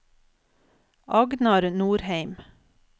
Agnar Nordheim